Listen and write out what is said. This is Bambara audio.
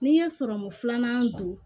N'i ye sɔrɔmu filanan don